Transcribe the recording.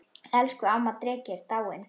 Elsku amma dreki er dáin.